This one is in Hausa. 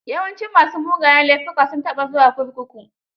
Yawancin ma su mugayen laifuka, sun taba zuwa kurkuku.